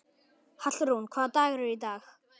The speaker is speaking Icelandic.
Hallrún, hvaða dagur er í dag?